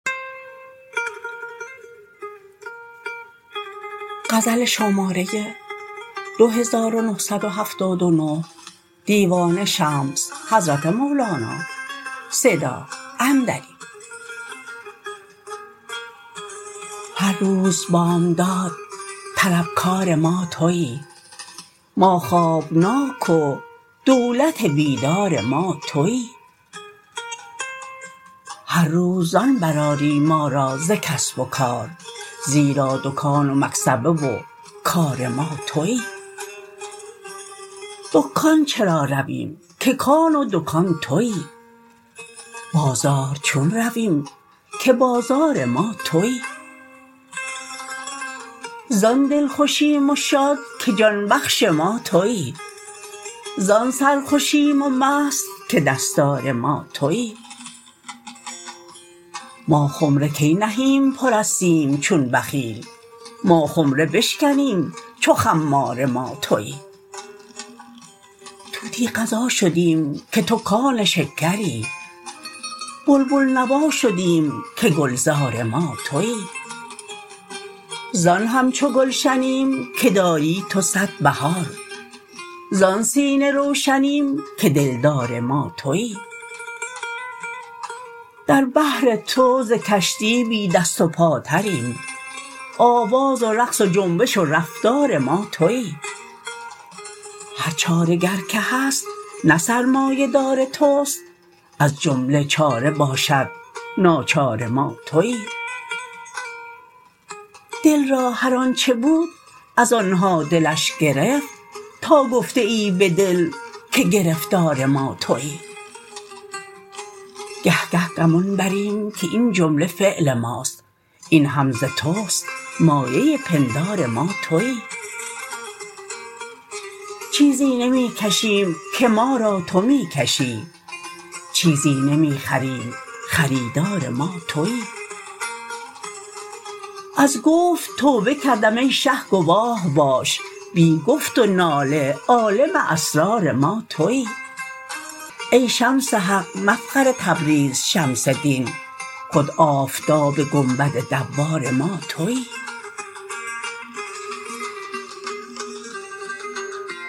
هر روز بامداد طلبکار ما توی ما خوابناک و دولت بیدار ما توی هر روز زان برآری ما را ز کسب و کار زیرا دکان و مکسبه و کار ما توی دکان چرا رویم که کان و دکان توی بازار چون رویم که بازار ما توی زان دلخوشیم و شاد که جان بخش ما توی زان سرخوشیم و مست که دستار ما توی ما خمره کی نهیم پر از سیم چون بخیل ما خمره بشکنیم چو خمار ما توی طوطی غذا شدیم که تو کان شکری بلبل نوا شدیم که گلزار ما توی زان همچو گلشنیم که داری تو صد بهار زان سینه روشنیم که دلدار ما توی در بحر تو ز کشتی بی دست و پاتریم آواز و رقص و جنبش و رفتار ما توی هر چاره گر که هست نه سرمایه دار توست از جمله چاره باشد ناچار ما توی دل را هر آنچ بود از آن ها دلش گرفت تا گفته ای به دل که گرفتار ما توی گه گه گمان بریم که این جمله فعل ماست این هم ز توست مایه پندار ما توی چیزی نمی کشیم که ما را تو می کشی چیزی نمی خریم خریدار ما توی از گفت توبه کردم ای شه گواه باش بی گفت و ناله عالم اسرار ما توی ای شمس حق مفخر تبریز شمس دین خود آفتاب گنبد دوار ما توی